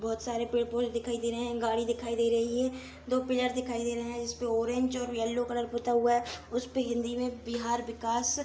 बहुत सारे पेड़-पौधे दिखाई दे रही है गाड़ी दिखाई दे रही है दो पेड़ दिखाई दे रहे है जिसमे ऑरेंज और येल्लो कलर पूता हुआ है । उसपे हिन्दी मे बिहार विकाश --